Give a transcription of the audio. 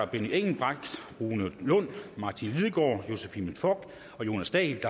benny engelbrecht rune lund martin lidegaard josephine fock og jonas dahl